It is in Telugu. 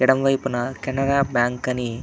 ఎడమ వైపున కెనరా బ్యాంకు అని --